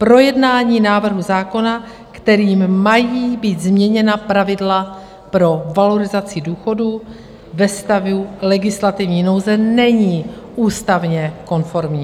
Projednání návrhu zákona, kterým mají být změněna pravidla pro valorizaci důchodů ve stavu legislativní nouze, není ústavně konformní.